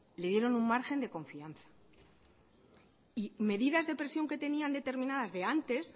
le dieron un margen de confianza y medidas de presión que tenían determinadas de antes